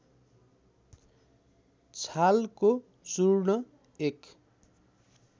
छालको चूर्ण एक